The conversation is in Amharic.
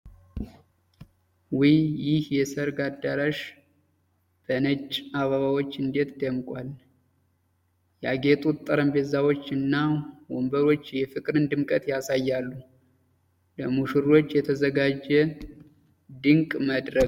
ውይ! ይህ የሰርግ አዳራሽ በነጭ አበባዎች እንዴት ደምቋል! ያጌጡት ጠረጴዛዎች እና ወንበሮች የፍቅርን ድምቀት ያሳያሉ! ለሙሽሮች የተዘጋጀ ድንቅ መድረክ !